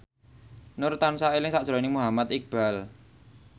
Nur tansah eling sakjroning Muhammad Iqbal